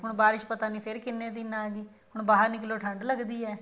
ਹੁਣ ਬਾਰਿਸ਼ ਪਤਾ ਨੀ ਫੇਰ ਕਿੰਨੇ ਦਿਨ ਆਗੀ ਹੁਣ ਬਾਹਰ ਨਿਕਲੋ ਠੰਡ ਲੱਗਦੀ ਹੈ